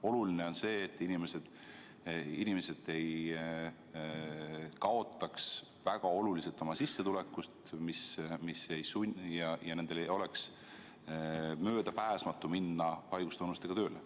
Oluline on see, et inimesed ei kaotaks väga oluliselt oma sissetulekutes ja neil ei oleks möödapääsmatu minna haigustunnustega tööle.